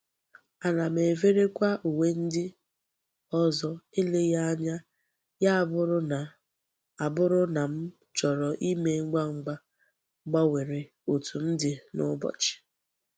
Ana m everekwa uwe ndi ozo eleghi anya ya aburu na aburu na m choro ime ngwa ngwa gbanwere otu m di n'ubochi.